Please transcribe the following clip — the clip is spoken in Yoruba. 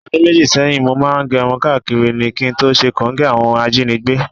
O̩dún méjì sé̩yìn, mo máa ń ge̩run káàkiri ni, kí n tó s̩e kòńgé̩ àwo̩n ajínigbé